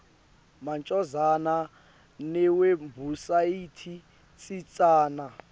macondzana newebhusayithi tsintsana